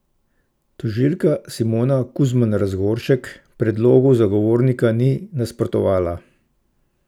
Tožilka Simona Kuzman Razgoršek predlogu zagovornika ni nasprotovala.